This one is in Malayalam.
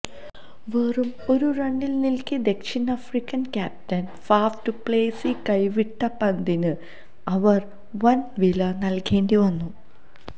വെറും ഒരു റണ്ണിൽനിൽക്കെ ദക്ഷിണാഫ്രിക്കൻ ക്യാപ്റ്റൻ ഫാഫ് ഡുപ്ലേസി കൈവിട്ട പന്തിന് അവര് വന് വില നല്കേണ്ടി വന്നു